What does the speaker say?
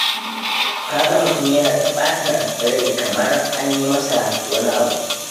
Ka ga mutum yana ta ɓata rai kamar an yi masa wani abu.